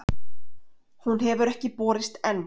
Hún hefur ekki borist enn.